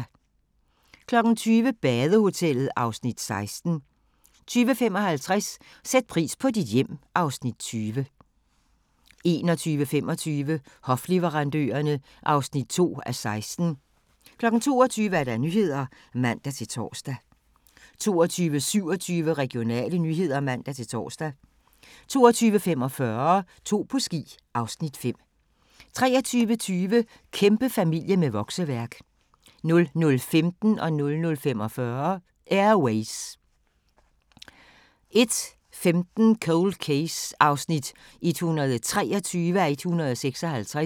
20:00: Badehotellet (Afs. 16) 20:55: Sæt pris på dit hjem (Afs. 20) 21:25: Hofleverandørerne (2:16) 22:00: Nyhederne (man-tor) 22:27: Regionale nyheder (man-tor) 22:45: To på ski (Afs. 5) 23:20: Kæmpefamilie med vokseværk 00:15: Air Ways 00:45: Air Ways 01:15: Cold Case (123:156)